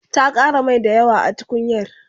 ta Ƙara Mai dayawa a tukunyar